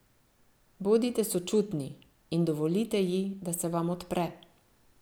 Bodite sočutni in dovolite ji, da se vam odpre.